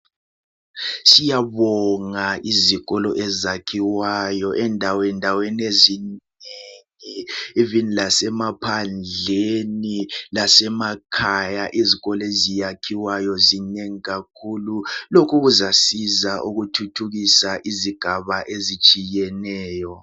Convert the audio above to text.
Siyabonga izikolo ezakhiwayo endawendaweni ezinengi.l, even lasemapgandleni. Izikolo eziyakhiwayo zinengi kakhulu. Lokhu kuzasiza ukuthuthukisa izigaba ezinengi kakhulu.